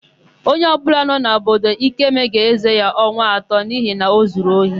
Onye ọbụla nọ n'obodo Ikeme ga-ézē ya ọnwa atọ n'ihi na o zuru ohi.